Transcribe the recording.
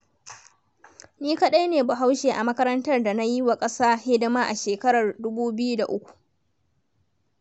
Ni kaɗai ne Bahaushe a makarantar da nayi wa ƙasa hidima a shekarar 2003.